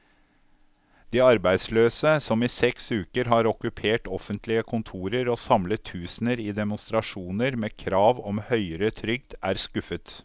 De arbeidsløse, som i seks uker har okkupert offentlige kontorer og samlet tusener i demonstrasjoner med krav om høyere trygd, er skuffet.